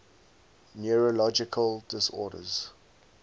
neurological disorders